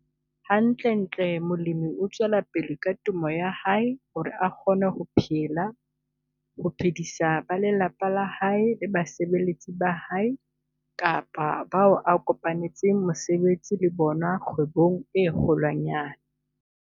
Hantlentle molemi o tswela pele ka temo ya hae hore a kgone ho phela, ho phedisa ba lelapa la hae le basebeletsi ba hae kapa bao a kopanetseng mosebetsi le bona kgwebong e kgolwanyane.